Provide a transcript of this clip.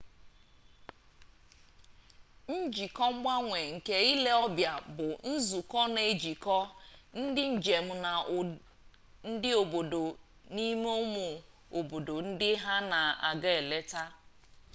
njikọ mgbanwe nke ile ọbịa bụ nzụkọ na ejikọ ndị njem na ndị obodo n'ime ụmụ obodo ndị ha na-aga eleta